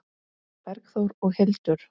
Bergþór og Hildur.